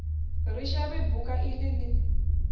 ri shavhe buka ili li